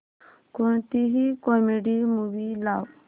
कोणतीही comedy movie लाव